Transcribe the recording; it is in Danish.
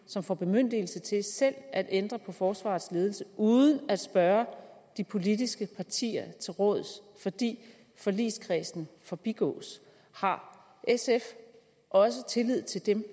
som får bemyndigelse til selv at ændre på forsvarets ledelse uden at spørge de politiske partier til råds fordi forligskredsen forbigås har sf også tillid til dem